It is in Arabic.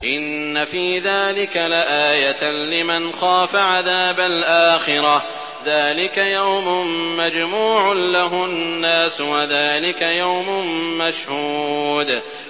إِنَّ فِي ذَٰلِكَ لَآيَةً لِّمَنْ خَافَ عَذَابَ الْآخِرَةِ ۚ ذَٰلِكَ يَوْمٌ مَّجْمُوعٌ لَّهُ النَّاسُ وَذَٰلِكَ يَوْمٌ مَّشْهُودٌ